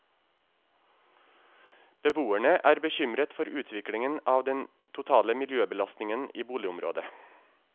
Beboerne er bekymret for utviklingen av den totale miljøbelastningen i boligområdet.